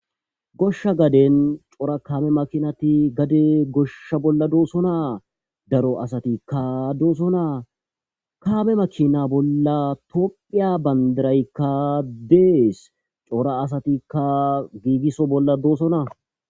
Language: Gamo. Goshsha gaaden coora kaameti maakinati gadde goshsha bolla doossona daaro asatika doossona kaame maakina bolla tophphiya bandiraykka de7es tohora asatika giigisso bolla doossona.